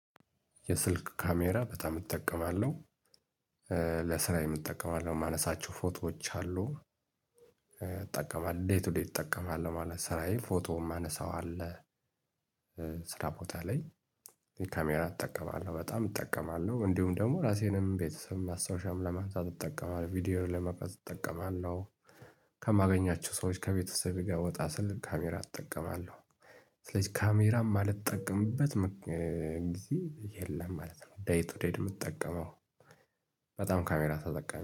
የስልክ ካሜራ በጣም እጠቀማለሁ ለስራየ እጠቀማለሁ የማነሳቸው ፎቶዎች አሉ። ይጠቀማል ዴት ቱደይ እጠቀማለሁ ማለት ስራዬ ፎቶ የማነሳው አለ። ስራ ቦታ ላይ ካሜራ እጠቀማለሁ በጣም እጠቀማለሁ እንዲሁም ደግሞ ራሴንም ቤተሰብም ማስታወሻም ለማንሳት እጠቀማለሁ ቪዲዮውን ለመቅረፅ እጠቀማለሁ። ከማገኛቸው ሰዎች ከቤተሰቤ ጋር ወጣ ስል ካሜራ እጠቀማለሁ። ስለዚህ ካሜራ የማልጠቀምበት ምክ እ እ ዚህ የለም ማለት ነው። ደይ ቱደይ ነው የምጠቀመው በጣም ካሜራ ተጠቃሚ